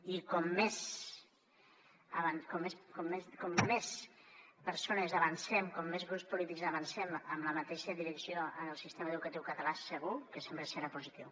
i com més persones avancem com més grups polítics avancem en la mateixa direcció en el sistema educatiu català segur que sempre serà positiu